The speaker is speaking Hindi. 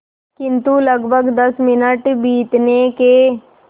किंतु लगभग दस मिनट बीतने के